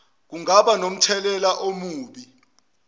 kungaba nomthelela omubi